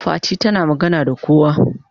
Fati tana magana da kowa.